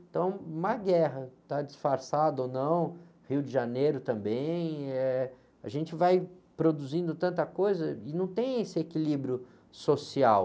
Então, uma guerra, está disfarçado ou não, Rio de Janeiro também, eh, a gente vai produzindo tanta coisa e não tem esse equilíbrio social.